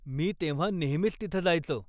मी तेव्हा नेहमीच तिथं जायचो.